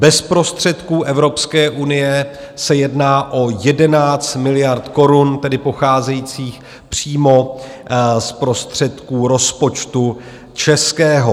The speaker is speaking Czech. Bez prostředků Evropské unie se jedná o 11 miliard korun, tedy pocházejících přímo z prostředků rozpočtu českého.